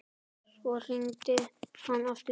Svo hringdi hann aftur.